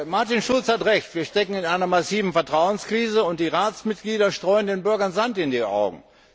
Martin Schulz hat Recht. Wir stecken in einer massiven Vertrauenskrise, und die Ratsmitglieder streuen den Bürgern Sand in die Augen.